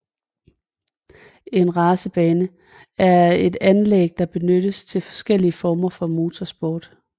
En racerbane er et anlæg som benyttes til forskellige former for motorsport